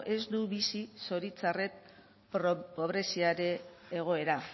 ez du bizi zoritxarrez pobreziaren egoera